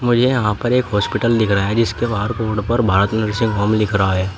मुझे यहां पर एक हॉस्पिटल दिख रहा है जिसके बाहर रोड पर भारत नर्सिंग होम लिख रहा है।